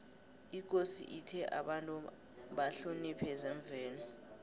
ikosi ithe abantu bahloniphe zemvelo